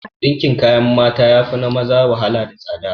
Dinkin kayan mata yafi na maza wahala da tsada